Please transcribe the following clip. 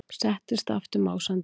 Settist aftur másandi.